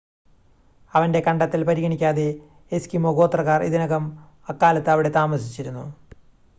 അവൻ്റെ കണ്ടെത്തൽ പരിഗണിക്കാതെ എസ്കിമോ ഗോത്രക്കാർ ഇതിനകം അക്കാലത്ത് അവിടെ താമസിച്ചിരുന്നു